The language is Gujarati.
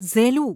ઝેલું